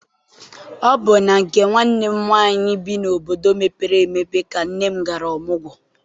Ọ bụ na nke nwanne m nwaanyị bi n'obodo mepere emepe ka nne m gara ọmụgwọ.